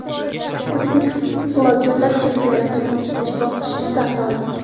O‘zbek bloggerlari chempionatining ikkinchi bosqichi start oldi.